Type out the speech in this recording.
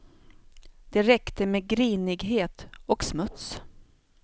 Det räckte med grinighet och smuts.